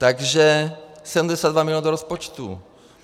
Takže 72 milionů do rozpočtů.